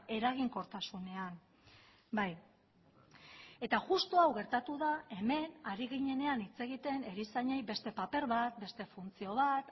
eraginkortasunean bai eta justu hau gertatu da hemen ari ginenean hitz egiten erizainei beste paper bat beste funtzio bat